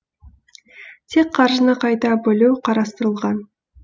тек қаржыны қайта бөлу қарастырылған